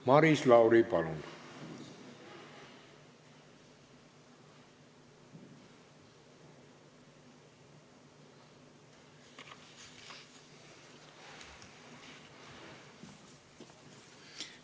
Maris Lauri, palun!